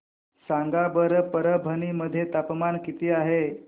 सांगा बरं परभणी मध्ये तापमान किती आहे